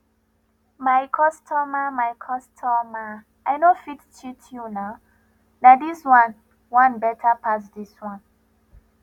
my customer my customer i no fit cheat you nah this one one better pass this one